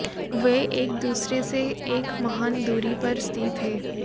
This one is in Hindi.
वे एक दूसरे से एक महान दूरी पर स्थित हैं